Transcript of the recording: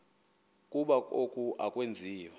ukuba oku akwenziwa